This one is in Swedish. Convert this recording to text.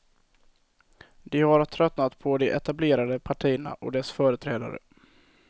De har tröttnat på de etablerade partierna och dess företrädare.